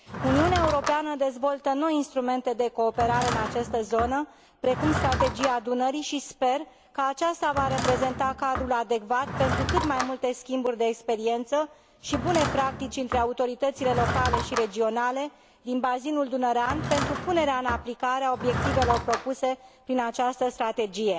Uniunea Europeană dezvoltă noi instrumente de cooperare în această zonă, precum Strategia Dunării, și sper că aceasta va reprezenta cadrul adecvat pentru cât mai multe schimburi de experiență și bune practici între autoritățile locale și regionale din bazinul dunărean, pentru punerea în aplicare a obiectivelor propuse prin această strategie.